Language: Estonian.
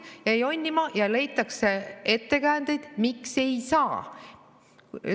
Hakatakse jonnima ja leitakse ettekäändeid, miks ei saa.